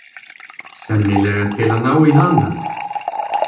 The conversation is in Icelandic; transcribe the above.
Sennilega til að ná í hana.